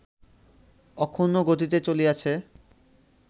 অক্ষুণ্ণ গতিতে চলিয়াছে